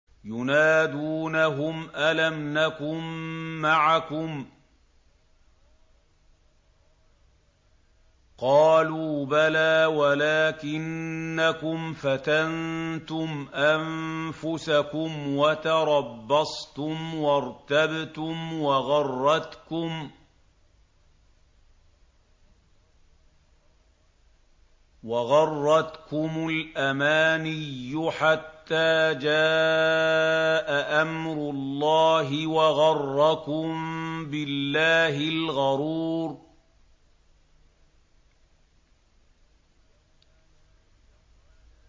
يُنَادُونَهُمْ أَلَمْ نَكُن مَّعَكُمْ ۖ قَالُوا بَلَىٰ وَلَٰكِنَّكُمْ فَتَنتُمْ أَنفُسَكُمْ وَتَرَبَّصْتُمْ وَارْتَبْتُمْ وَغَرَّتْكُمُ الْأَمَانِيُّ حَتَّىٰ جَاءَ أَمْرُ اللَّهِ وَغَرَّكُم بِاللَّهِ الْغَرُورُ